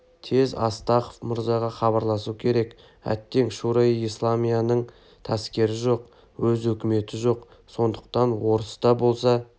тез астахов мырзаға хабарласу керек әттең шуро-и-исламияның таскері жоқ өз өкіметі жоқ сондықтан орыс та болса